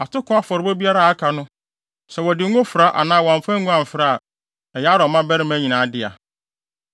Atoko afɔrebɔ biara a aka no, sɛ wɔde ngo fra anaa wɔamfa ngo amfra a, ɛyɛ Aaron mmabarima nyinaa dea.